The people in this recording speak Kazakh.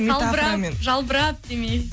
салбырап жалбырап демей